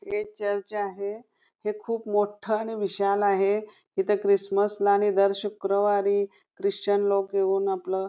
इथे चर्च आहे हे खूप मोठं आणि विशाल आहे इथे ख्रिसमसला आणि दर शुक्रवारी ख्रिश्चन लोक येऊन आपलं --